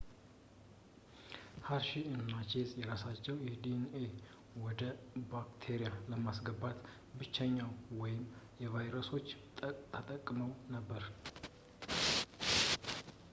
ሀርሺ እና ቼዝ የራሳቸውን ዲኤንኤ ወደ ባክቴሪያ ለማስገባት ብሎችን ወይም ቫይረሶችን ተጠቅመው ነበር